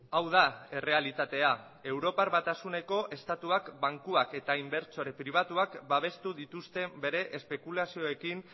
hau da errealitatea europar batasuneko estatuak bankuak eta inbertsore pribatuak babestu dituzte bere espekulazioekin